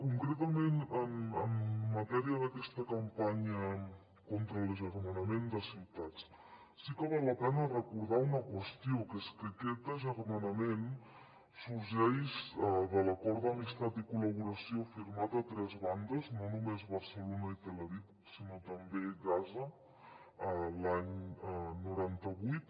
concretament en matèria d’aquesta campanya contra l’agermanament de ciutats sí que val la pena recordar una qüestió que és que aquest agermanament sorgeix de l’acord d’amistat i col·laboració firmat a tres bandes no només barcelona i tel aviv sinó també gaza l’any noranta vuit